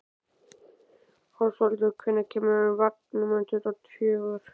Ásvaldur, hvenær kemur vagn númer tuttugu og fjögur?